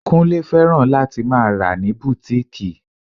Kúnlé fẹ́ràn láti máa rà ní bùtíkìì